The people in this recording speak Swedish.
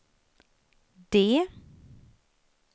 D